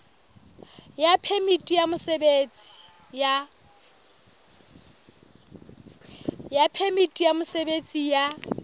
ya phemiti ya mosebetsi ya